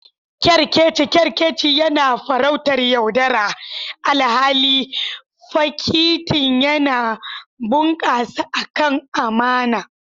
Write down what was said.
Kerkeci kerkeci yana farautar yaudara, alhali fakitin yana bunƙasa akan amana.